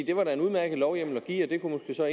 det var da en udmærket lovhjemmel at give og det kunne så